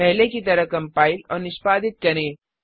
पहले की तरह कम्पाइल और निष्पादित करें